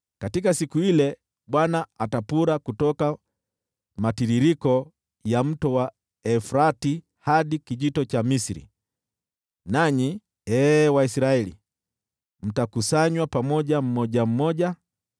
Katika siku ile Bwana atapura kutoka matiririko ya Mto Frati hadi Kijito cha Misri, nanyi ee Waisraeli, mtakusanywa mmoja mmoja.